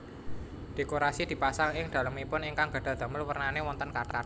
Dhékorasi dipasang ing dhalemipun ingkang gadhah dhamel wernané wonten kathah